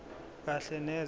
kahle neze kulokho